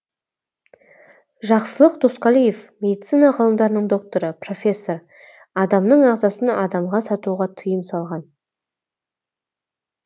жақсылық досқалиев медицина ғылымдарының докторы профессор адамның ағзасын адамға сатуға тиым салған